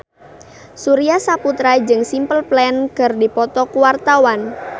Surya Saputra jeung Simple Plan keur dipoto ku wartawan